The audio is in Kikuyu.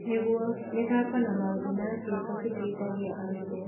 Nĩguo, mĩthako na maũndũ ma ciĩko citeithagia arutwo